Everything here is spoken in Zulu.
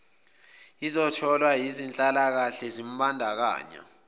ezitholwa yinhlalakahle zimbandakanya